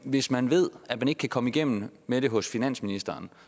hvis man ved at man ikke kan komme igennem med det hos finansministeren